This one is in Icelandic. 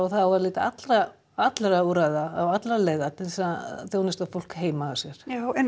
það á að leita allra allra úrræða og allra leiða til þess að þjónusta fólk heima hjá sér já en